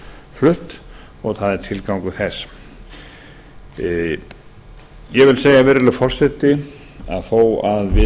flutt og það er tilgangur þess ég vil segja virðulegur forseta að þó að við